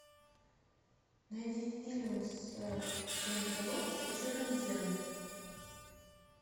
найди фильм с дженнифер лопес и ричардом гиром